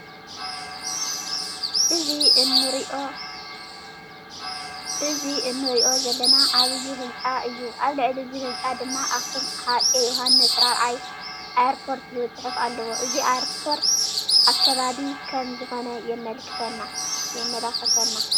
እዚ እንርእዮ ዘለና ዓበይ ህንፃ እዩ። ኣብ ልዕሊ እዚ ህንፃ ድማ ኣክሱም ኣፄ ዮውሓንስ ራብዓይ ኤርፖርት ዝብል ፅሑፍ ኣለዎ። እዚ ኤርፖርት ኣከባቢ ከም ዝኮነ የመላክተና።